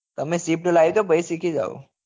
તમે swift લાવી દો પહી સીખી જાઓ